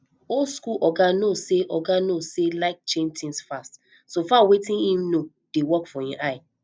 old school oga no sey oga no sey like change things fast so far wetin im know dey work for im eye